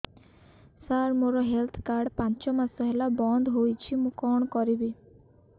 ସାର ମୋର health card ପାଞ୍ଚ ମାସ ହେଲା ବଂଦ ହୋଇଛି ମୁଁ କଣ କରିବି